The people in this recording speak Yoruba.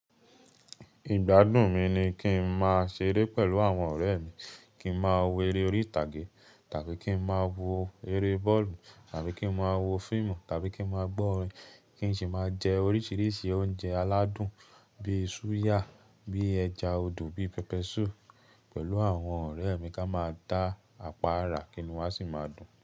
Ìgbádùn mi ni kín ma ṣeré pẹ̀lú àwọn ọ̀rẹ́ mi, kín ma wò eré orí ìtàgé tàbí kín ma wò eré bọ́ọ̀lù tàbí kín ma wò fíìmù tàbí kín ma gbọ́ orin, kín sì máa jẹ oríṣiríṣi oúnjẹ aládùn bíi súyà, bíi ẹja odò, bíi pẹpẹ súù pẹ̀lú àwọn ọ̀rẹ́ mi ká máa da àpá ará kínu a sì máa dùn.